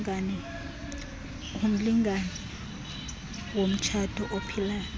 umlingane womtshato ophilayo